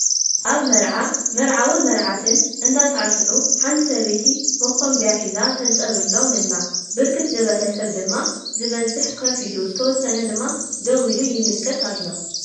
አብ መርዓ መርዓውን መርዓትን እንዳሳዕስዑ ሓንቲ ሰበይቲ መከምበያ ሒዛ ተፀንብሎም አላ፡፡ ብርክት ዝበለ ሰብ ድማ ዝበዝሕ ከፍ ኢሉ ዝተወሰነ ድማ ደው ኢሉ ይምልከት አሎ፡፡